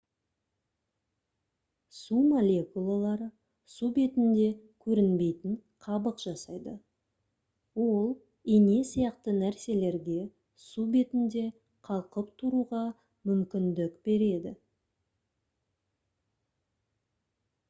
су молекулалары су бетінде көрінбейтін қабық жасайды ол ине сияқты нәрселерге су бетінде қалқып тұруға мүмкіндік береді